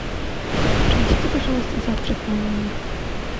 принесите пожалуйста завтрак в мой номер